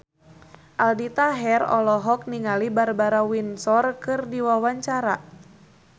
Aldi Taher olohok ningali Barbara Windsor keur diwawancara